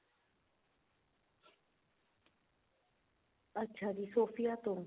ਅੱਛਾ ਜੀ Sophia ਤੋਂ